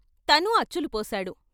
తనూ అచ్చులు పోశాడు.